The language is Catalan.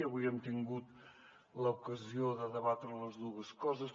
avui hem tingut l’ocasió de debatre les dues coses